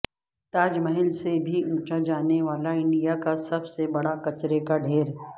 تاج محل سے بھی اونچا جانے والا انڈیا کا سب سے بڑا کچرے کا ڈھیر